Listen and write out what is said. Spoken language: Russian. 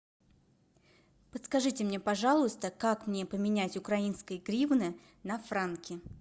подскажите мне пожалуйста как мне поменять украинские гривны на франки